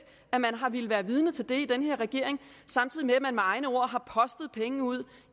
at man har villet være vidne til det i den her regering samtidig med at man med egne ord har postet penge ud